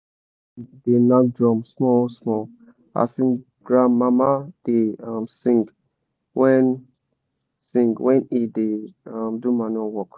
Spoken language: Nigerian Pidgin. my cosin da nak drum small small as him granmama da um sing wen sing wen e da um do manure work